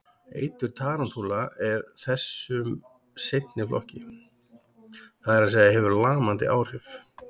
Eitur tarantúla er þessum seinni flokki, það er að segja hefur lamandi áhrif.